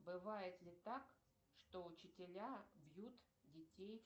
бывает ли так что учителя бьют детей